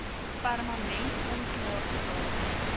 permanent onklaar geraak